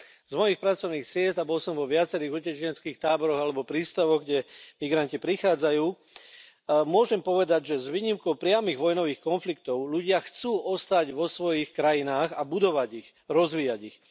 Z mojich pracovných ciest, a bol som vo viacerých utečeneckých táboroch alebo prístavoch, kam migranti prichádzajú, môžem povedať, že s výnimkou priamych vojnových konfliktov ľudia chcú ostať vo svojich krajinách a budovať ich, rozvíjať ich.